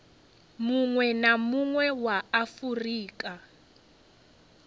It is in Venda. munwe na munwe wa afurika